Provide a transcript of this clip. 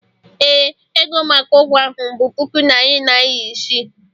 ee, ego maka ụgwọ ahụ bụ puku naịra iri isii